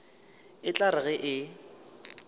e tla re ge e